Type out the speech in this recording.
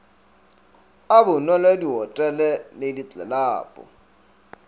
a bonwelo dihotele le ditlelapo